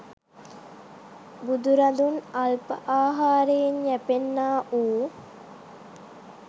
බුදුරදුන් අල්ප අහාරයෙන් යැපෙන්නාවූ